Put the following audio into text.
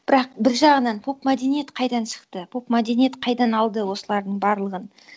бірақ бір жағынан поп мәдениет қайдан шықты поп мәдениет қайдан алды осылардың барлығын